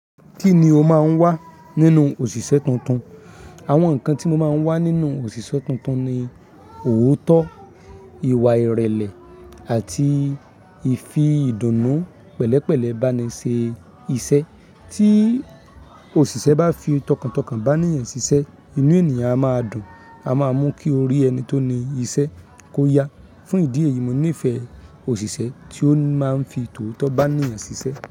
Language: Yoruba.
Kí ni o máa ń wá nínú òṣìṣẹ́ tuntun? Àwọn nǹkan tí mo máa ń wá nínú òṣìṣẹ́ tuntun ni òótọ́, ìwà ìrẹ̀lẹ̀ àti ìfi ìdùnnú pẹ̀lẹ́pẹ̀lẹ́ bá ni ṣe iṣẹ́. Tí òṣìṣẹ́ bá fi tọkàntọkàn bá ènìyàn ṣiṣẹ́, inú ènìyàn a máa dùn, a máa mú kí orí ẹni tó ní iṣẹ́ kó yá. Fún ìdí èyí, mo nífẹ̀ẹ́ òṣìṣẹ́ tí ó máa ń fi tòótọ̀ bá ènìyàn ṣiṣẹ́.